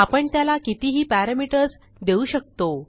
आपण त्याला कितीही पॅरामीटर्स देऊ शकतो